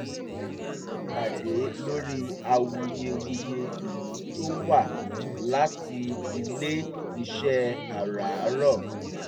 wọ́n ṣe ìpàdé lórí awuyewuye ìlú tó wá láti ile iṣẹ́ àràárọ̀